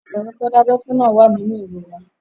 Ọmọkùnrin tán dábẹ́ fún náà wà nínú ìrora